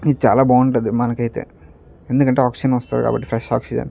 ఇది చాలా బాగుంటది మనకైతే ఎందుకంటే ఆక్సిజన్ వస్తది కాబట్టి ఫ్రెష్ ఆక్సిజన్ .